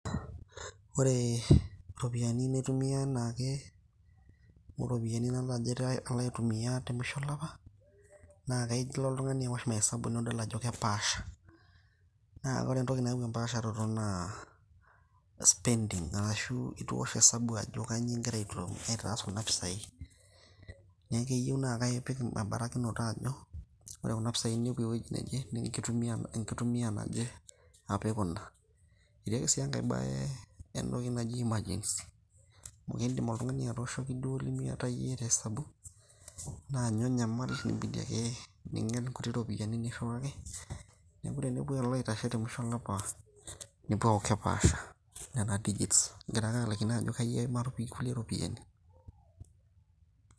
ore iropiyiani naitumia anaake , oropiyiani nalo aitumia te musho olapa, naa tenilo oltungani aosh mahesabu nidol ajo kepaasha . naa ore entoki nayau empaasharato naaa spending arashu itu iosh osabu ajo kainyioo ingira aitumia kuna pisai . niaku keyieu naa ipik embarakinoto ajo ore kuna pisai naa inenkitumia naje